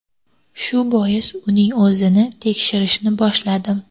Shu bois uning o‘zini tekshirishni boshladim.